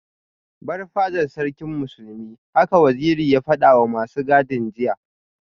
Bar fadar Sarkin Musulmi haka Waziri ya fadawa masu gadin jiya